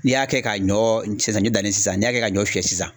N'i y'a kɛ ka ɲɔ saɲɔ dannen sisan n'i y'a kɛ ka ɲɔ fiyɛ sisan